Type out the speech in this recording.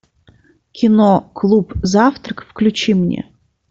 кино клуб завтрак включи мне